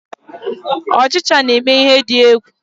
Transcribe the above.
Ochicha na eme ihe di egwu.